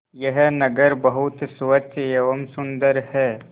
यह नगर बहुत स्वच्छ एवं सुंदर है